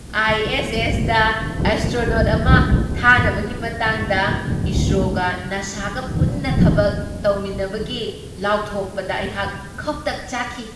I S ꯑꯦꯁꯗ astronaut ꯑꯃ ꯊꯥꯅꯕꯒꯤ ꯃꯇꯥꯡꯗ ꯏꯁꯔꯣꯒ ꯅꯥꯁꯥꯒ ꯄꯨꯟꯅ ꯊꯕꯛ ꯇꯧꯃꯤꯟꯅꯕꯒꯤ ꯂꯥꯎꯊꯣꯛꯄꯗ ꯑꯩꯍꯥꯛ ꯈꯧꯇꯛ ꯆꯥꯈꯤ꯫